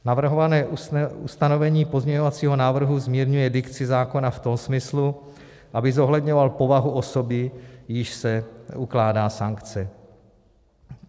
Navrhované ustanovení pozměňovacího návrhu zmírňuje dikci zákona v tom smyslu, aby zohledňoval povahu osoby, jíž se ukládá sankce.